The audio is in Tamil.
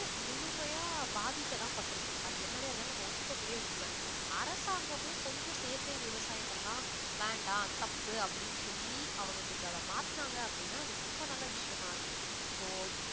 முழுமையாக பாதிக்கத்தான்பட்டிருக்கு அது என்னவே இருந்தாலும் நம்ம ஒத்துக்க கூடிய உண்மை. அரசாங்கமும் கொஞ்சம் செயற்கை விவசாயத்தெல்லாம் வேண்டாம் தப்பு அப்படின்னு சொல்லி அவங்க கொஞ்சம் அதை மாத்தனாங்க அப்படின்னா அது ரொம்ப நல்ல விஷயமா இருக்கும் so